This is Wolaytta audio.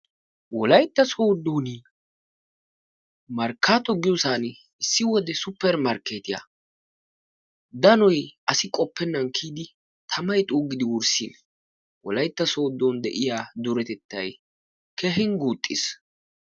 Wolaytta Sooddoon Markkaatto giyosan issi wode suupper markkeetiya danoy asi qoppennan kiyidi tamay xuuggidi wurssin Wolaytta Sooddoon de'iya duretettay keehin guuxxiis.